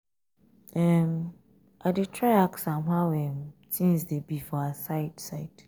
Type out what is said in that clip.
um i dey try ask am how um things um dey be for her side side.